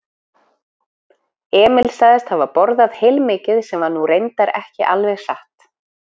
Emil sagðist hafa borðað heilmikið sem var nú reyndar ekki alveg satt.